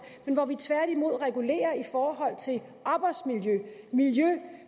men hvor vi tværtimod regulerer arbejdsmiljø og miljø